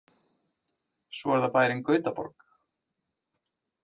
Svo er það bærinn Gautaborg.